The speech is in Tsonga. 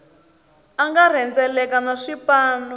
a nga rhendzeleka na swipanu